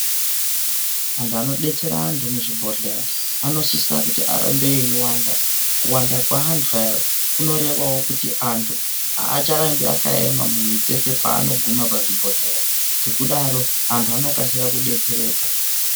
Antu anodetsera antu muzvibhehlera anosisa kuramba veiwanda. Kuwanda kwevantu ava kunorevawo kuti vantu avacharambi vakaema mumitsetse muzvibhehlera ngekudaro antu anokasira kudetsereka.